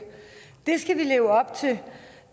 det skal vi leve op til